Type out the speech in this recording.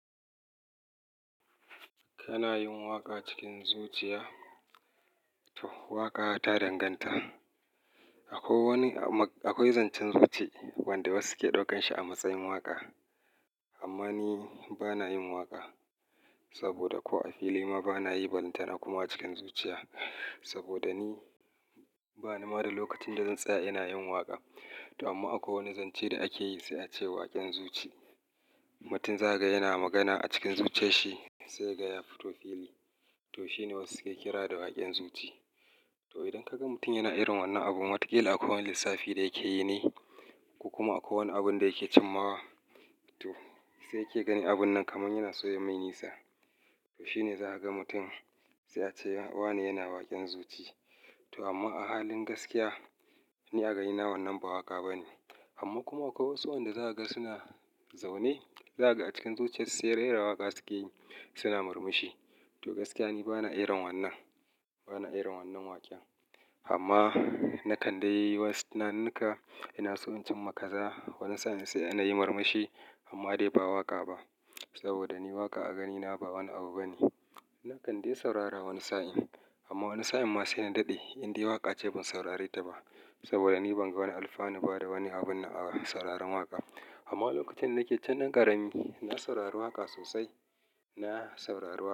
Kana yin waka cikin zuciya? Waka ta danganta. Akwai wani ama, akwai zancen zuci wanda wasu ke daukan shi a matsayin waka. Amma ni bana yin waka, saboda ko a fili ma bana yi balantana kuma cikin zuciya. Saboda ni ba ni ma da lokacin da zan tsaya ina yin waka. Amma akwai wani zance da ake yi sai a ce waken zuci. Mutum za ka ga yana magana a cikin zuciyar shi sai kaga ya fito fili. To shine wasu ke kira da waken zuci. To idan ka ga mutum yana irin wannan abu, watakila akwai wani lissafi da yake yi ne, kuma akwai wani abunda yake cimmawa. To sai kiga abun nan kamar yana so yayi mai nisa. To shine za a ga mutum sai a ce wane yana waken zuci. To amma a halin gaskiya, ni a ganina wannan ba waƙa ba ne. Amma kuma akwai wasu wanda za ka ga suna zaune, za kaga a cikin zuciyar su sai rera waka suke yi suna murmushi. To gaskiya ni ba na iron wannan, ba na iron wannan waƙa. Amma na kandai wasu nunninka, ina so in cimma kaza wani sa'in sai nayi murmushi amma dai ba waka ba. Saboda ni waka a ganina ba wani abu ba ne. Na kande saurara wani sa'in, amma wani sa'in ma sai na dade in dai waka ce ban saurare ta ba. Saboda ni ban ga wani alfanu ba da wani abune a sauraron waka. Amma lokacin da nake tun dan karami, ina sauraren waka sosai, na saurari waka.